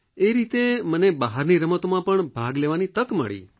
એ રીતે મને બહારની રમતોમાં પણ ભાગ લેવાની તક મળી